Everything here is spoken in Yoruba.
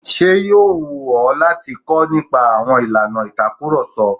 Ṣé yóò wù ọ́ láti kọ́ nípa àwọn ìlànà ìtakurọ̀sọ?